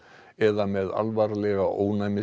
eða með alvarlega